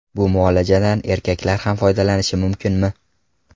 Bu muolajadan erkaklar ham foydalanishi mumkinmi?